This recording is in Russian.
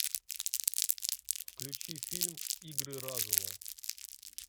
включи фильм игры разума